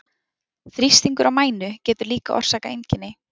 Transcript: Þrýstingur á mænu getur líka orsakað einkenni.